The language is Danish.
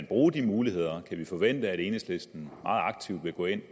bruge de muligheder kan vi forvente at enhedslisten meget aktivt vil gå ind